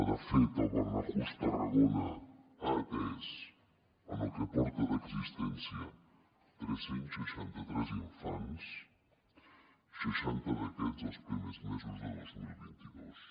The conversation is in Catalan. de fet el barnahus tarragona ha atès en el que porta d’existència tres cents i seixanta tres infants seixanta d’aquests els primers mesos de dos mil vint dos